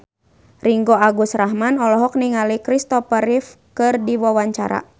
Ringgo Agus Rahman olohok ningali Kristopher Reeve keur diwawancara